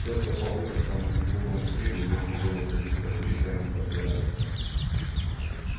только по вытоптанному кругом снегу можно было судить как близко они подбирались к нему